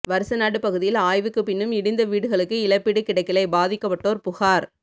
வருசநாடு பகுதியில் ஆய்வுக்குப் பின்னும் இடிந்த வீடுகளுக்கு இழப்பீடு கிடைக்கலை பாதிக்கப்பட்டோர் புகார்